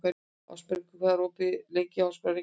Ásbergur, hvað er opið lengi í Háskólanum í Reykjavík?